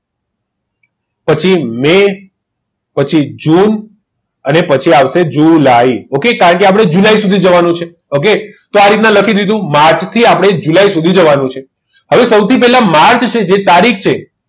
પછી મેં પછી જૂન પછી આવશે જુલાઈ કારણ કે આપણે જુલાઈ સુધી જવાનું છે okay તો આ રીતના લખી દીધું માંથી આપણે જુલાઈ સુધી જવાનું છે હવે સૌથી પહેલા માર્ચ છે જે તારીખ છે